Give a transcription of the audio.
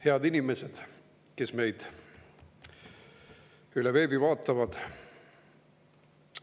Head inimesed, kes meid üle veebi vaatavad!